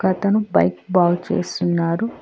అతను బైక్ బాగ్ చేస్తున్నాడు.